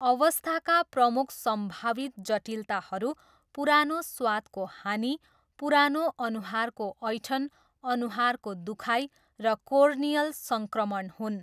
अवस्थाका प्रमुख सम्भावित जटिलताहरू पुरानो स्वादको हानि, पुरानो अनुहारको ऐँठन, अनुहारको दुखाइ र कोर्नियल सङ्क्रमण हुन्।